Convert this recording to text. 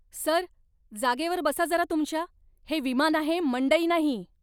Sir, जागेवर बसा जरा तुमच्या. हे विमान आहे, मंडई नाही!